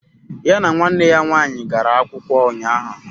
Ya na nwanne ya nwaanyị gara akwụkwọ ụnyahụ